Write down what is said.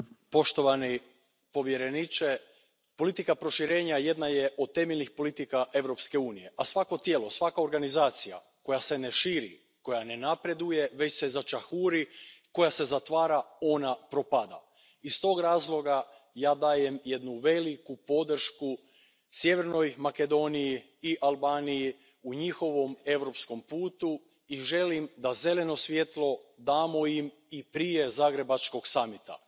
Poštovana predsjedavajuća, poštovani povjereniče, politika proširenja jedna je od temeljnih politika Europske unije a svako tijelo, svaka organizacija koja se ne širi, koja ne napreduje, već se začahuri, koja se zatvara, ona propada. Iz toga razloga, ja dajem jednu veliku podršku Sjevernoj Makedoniji i Albaniji u njihovom europskom putu i želim da zeleno svjetlo damo im i prije Zagrebačkog samita.